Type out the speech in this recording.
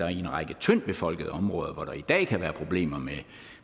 er en række tyndtbefolkede områder hvor der i dag kan være problemer